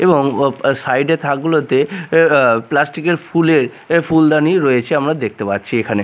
এবং ও সাইডের -এর থাকগুলোতে এ আ প্লাস্টিকের -এর ফুলের এ ফুলদানি রয়েছে আমরা দেখতে পাচ্ছি এখানে।